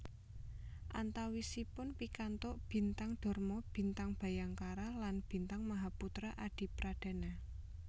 Antawisipun pikantuk Bintang Dharma Bintang Bhayangkara lan Bintang Mahaputra Adipradana